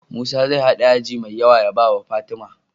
Musa zai hada yaji me yawa ya bawa fatima